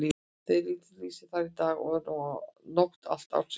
Þessi viti lýsir þar dag og nótt allan ársins hring.